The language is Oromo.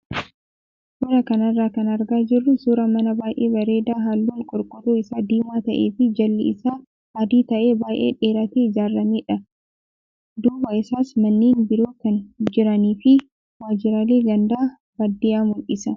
Suuraa kanarraa kan argaa jirru suuraa mana baay'ee bareedaa halluun qorqoorroo isaa diimaa ta'ee fi jalli isaa adii ta'ee baay'ee dhiiratee ijaaramedha. Duuba isaas manneen biroo kan jiranii fi waajjiraalee ganda baadiyyaa mul'isa.